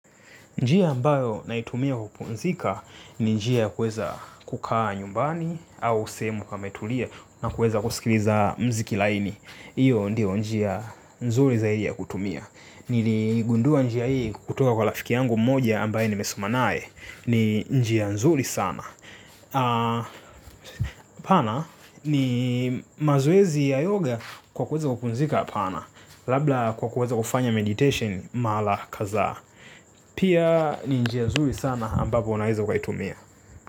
Njia ambayo naitumia kupumzika ni njia ya kuweza kukaa nyumbani au sehemu pametulia na kuweza kusikiliza mziki laini. Hiyo ndio njia nzuri zaidi ya kutumia. Niligundua njia hii kutoka kwa rafiki yangu mmoja ambaye nimesoma naye. Ni njia nzuri sana. Hapana ni mazoezi ya yoga kwa kuweza kupumzika hapana. Labda kwa kuweza kufanya meditation mara kadhaa. Pia ni njia nzuri sana ambapo unaeza ukaitumia.